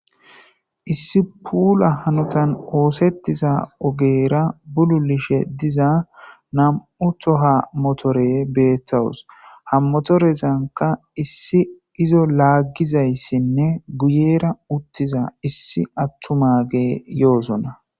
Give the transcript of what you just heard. Issi puula hanotan oositiza ogera pululetishe naamu tooha mootore beitawus ha mootorezaka issi izo laagizayisne guyera uttiza issi atumage yoosona.